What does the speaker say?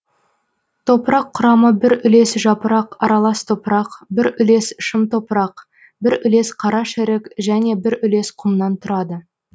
топырақ құрамы бір үлес жапырақ аралас топырақ бір үлес шым топырақ бір үлес қарашірік және бір үлес құмнан тұрады